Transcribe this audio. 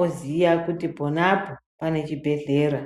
oziya kuti pona apo, pane chibhedhlera.